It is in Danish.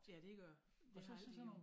Ja dét gør det det har altid heddet